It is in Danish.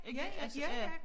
Ikke altså ja